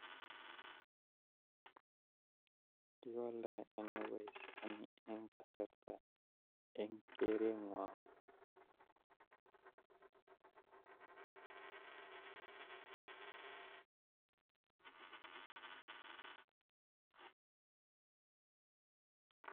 Kiwaldagei ono boishoni en kasarta en korenwong